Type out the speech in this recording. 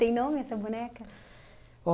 Tem nome essa boneca?